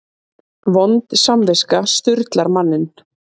Vond samviska sturlar manninn.